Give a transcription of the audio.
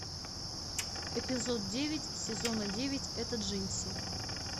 эпизод девять сезона девять это джинси